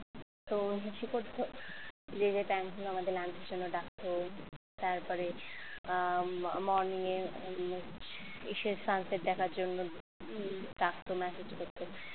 তো সে করতো যে যে ডাকতো তারপরে morning এ এসে sunset দেখার জন্য ডাকতো message করত